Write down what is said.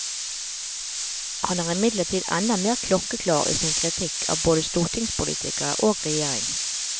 Han er imidlertid enda mer klokkeklar i sin kritikk av både stortingspolitikere og regjering.